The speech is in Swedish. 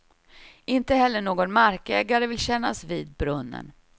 Inte heller någon markägare vill kännas vid brunnen.